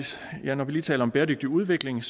lige taler om bæredygtig udvikling